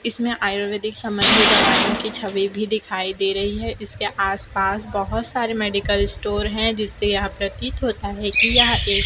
इसमें आयुर्वेदिक संबंधी दवाइयों की छवि भी दिखाई दे रही है इसके आसपास बहोत सारे मेडिकल स्टोर है जिससे यह प्रतीत होता है कि यह एक--